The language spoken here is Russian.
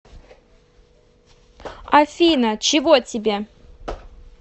афина чего тебе